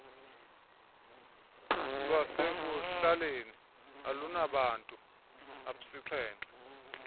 lwasekuhlaleni olunabantu absixhenxe